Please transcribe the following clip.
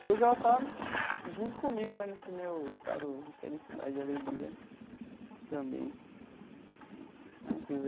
Que hoje ela está junto comigo né nesse meu estado de felicidade e alegria também né quer dizer...